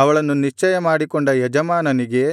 ಅವಳನ್ನು ನಿಶ್ಚಯ ಮಾಡಿಕೊಂಡ ಯಜಮಾನನಿಗೆ